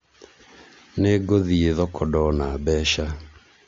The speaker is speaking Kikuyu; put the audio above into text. ningũthie thoko ndona mbeca